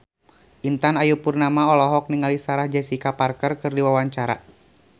Intan Ayu Purnama olohok ningali Sarah Jessica Parker keur diwawancara